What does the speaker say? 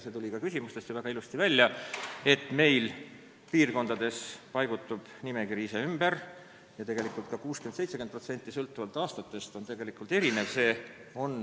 See tuli ka küsimustest väga ilusti välja, et piirkondades paigutub nimekiri ise ümber, sõltuvalt aastast tegelikult 60–70% ulatuses.